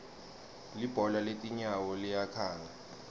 libhola letinyawo liyakhanga